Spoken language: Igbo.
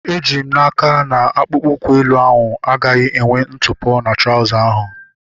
Eji m n'aka, akpụkpọ ụkwụ elu ahu agaghị enwe ntụpọ na trauza ahu